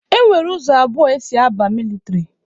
E nwere ụzọ abụọ esi aba mịlịtrị.